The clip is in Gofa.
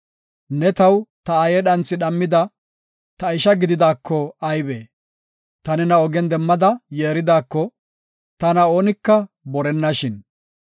Ne taw ta aaye dhanthi dhammida ta isha gididaako aybe! Ta nena ogen demmada yeeridaako, tana oonika borennashin.